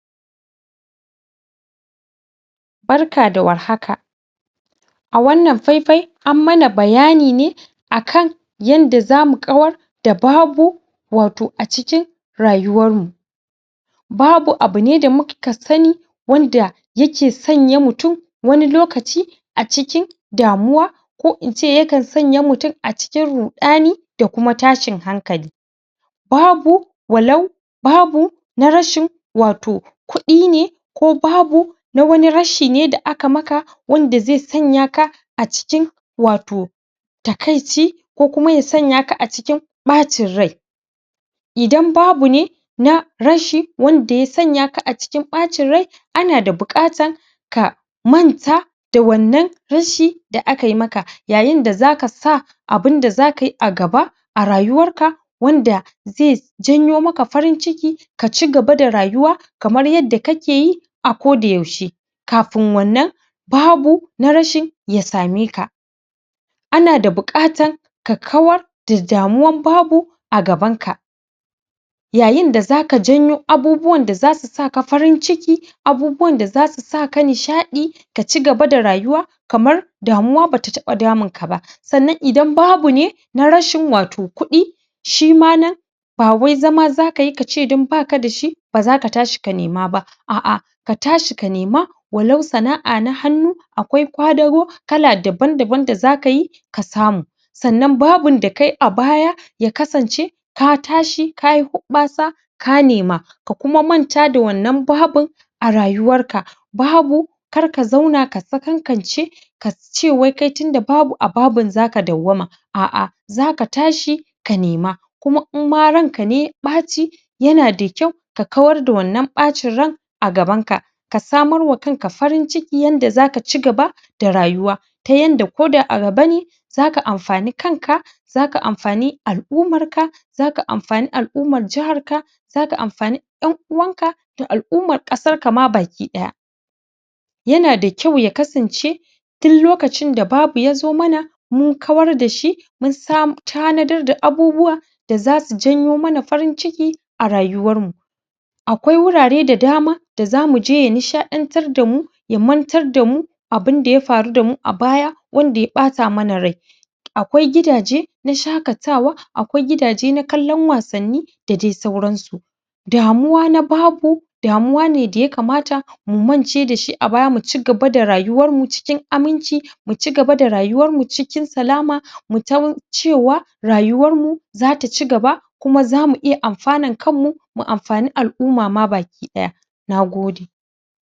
Barka da warhaka a wannan faifai an mana bayani ne a kan yanda za mu ƙawar da babu wato a cikin rayuwarmu. Babu abu ne da muka sani wanda yake sanya mutum wani lokaci a cikin damuwa Ko in ce yakan sanya mutum a cikin ruɗani da kuma tashin hankali babu walau babu na rashin wato Kuɗi ne ko babu na wani rashi ne da aka maka wanda zai sanya ka a cikin wato takaici ko kuma ya sanya ka a cikin ɓacin rai. Idan babu ne na rashi wanda ya sanya ka acikin ɓacin rai ana da buƙatar ka manta da wannan rashi da aka maka yayin da za sa abun da za kai a gaba a rayuwarka wanda zai janyo maka farin ciki ka ci gaba da rayuwa kamar yadda kake yi a kodayaushe kafin wannan babu na rashi ya same ka. Ana da buƙata ka kawar da damuwar babu a gabanka. yayin da za ka janyo abubuwan da za su sa ka farin ciki Abubuwan da za su saka nisaɗi ka ci gaba da rayuwa kamar damuwa ba ta taɓa damunka ba. Sannan idan babu ne na rashin wato kuɗi. shi ma nan. Ba wai zama za kai ka ce don ba ka da shi ba za ka tashi ka nema ba. A'a ka tashi ka nema walau sana'a na hannu akwai ƙwadago kala dabam-daban da za kai. sannan babun da kai a baya ya kasance ka tashi ka yi huɓɓasa ka nema ka kuma manta da wannan babin a rayuwarka babu kar ka zauna ka sakankance ka ce wai kai tunda babu a babun za ka dawwama a'a za ka ta shi ka nema kuma in ma ranka ne ya ɓaci yana da kyau ka war da wannan ɓacin rai a gabanka ka samar da kanka farin ciki yanda za ka ci gaba da rayuwar ta yanda ko da a gaba ne za ka amfani kanka za ka amfani al'umma za ka amfani al'ummar jiharka za ka amfani ƴan uwanka da al'ummar ƙasar ka ma baki ɗaya yana da kyau ya kasance tun lokacin da babu ya zo mana mun kawar da shi mun tanadar da abubuwa da za su janyo mana farin ciki a rayuwarmu. akwai wurare da dama da zamu je ya nishaɗantar da mu ya mantar da mu abun da ya faru da mu a baya wanda ya ɓata mana rai akwai gidaje na shaƙatawa a kwai gida je na kallon wasanni da dai sauransu damuwa na babu damuwa ne da yakamata mu mance da shi a baya mu ci gaba da rayuwarmu cikin aminci muci gaba da rayuwarmu cikin salama mu san cewa rayuwarmu za ta ci gaba kuma za mu iya amfanar kanmu mu amfani al'umma ma baki ɗaya na gode.